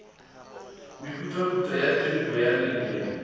mehutahutana ya tiripo ya leleme